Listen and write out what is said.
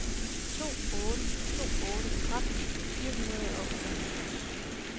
to otte to otte tretten fire hundrede og otteoghalvfjerds